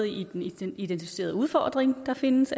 i den identificerede udfordring der findes